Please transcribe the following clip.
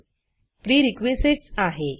prerequisitesप्रीरिक्विसाइट्स आहे